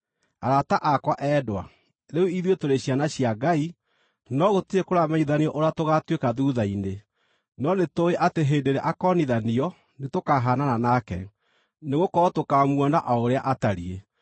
Arata akwa endwa, rĩu ithuĩ tũrĩ ciana cia Ngai, no gũtirĩ kũramenyithanio ũrĩa tũgaatuĩka thuutha-inĩ. No nĩtũũĩ atĩ hĩndĩ ĩrĩa akoonithanio nĩtũkahaanana nake, nĩgũkorwo tũkaamuona o ũrĩa atariĩ.